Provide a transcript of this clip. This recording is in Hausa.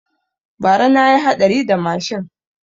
Bara na yi haɗari da mashin